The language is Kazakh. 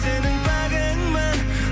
сенің пәгіңмін